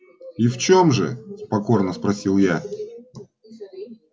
и в чём же покорно спросил я